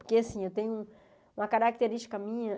Porque assim, eu tenho uma característica minha.